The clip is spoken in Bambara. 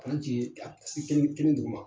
kelen kelen d' ma.